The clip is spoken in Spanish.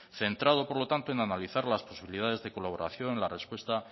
centrado por lo tanto en analizar las posibilidades de colaboración en la respuesta